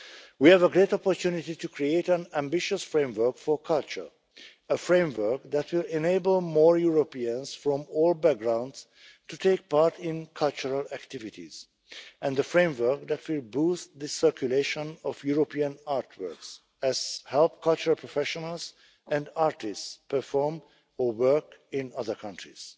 negotiations ahead. We have a great opportunity to create an ambitious framework for culture a framework that will enable more Europeans from all backgrounds to take part in cultural activities, and a framework that will boost the circulation of European artworks and help cultural professionals and artists perform or work